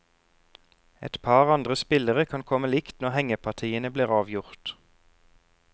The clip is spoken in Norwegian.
Et par andre spillere kan komme likt når hengepartiene blir avgjort.